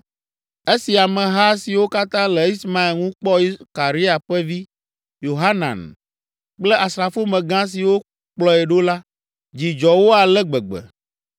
Esi ameha siwo katã le Ismael ŋu kpɔ Karea ƒe vi, Yohanan kple asrafomegã siwo kplɔe ɖo la, dzi dzɔ wo ale gbegbe.